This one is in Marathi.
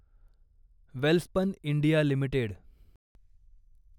Welspun India limited